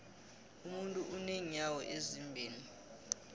umuntu unenyawo ezimbili